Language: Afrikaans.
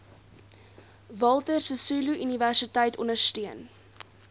walter sisuluuniversiteit ondersteun